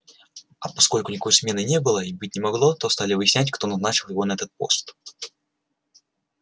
а поскольку никакой смены не было и быть не могло то стали выяснять кто назначил его на этот пост